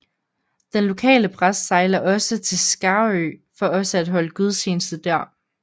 Den lokale præst sejler også til Skarø for også at holde gudstjeneste der